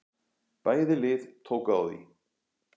Bæði lið tóku á því.